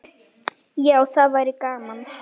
Já, það væri gaman.